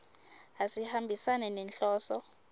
asihambisani nenhloso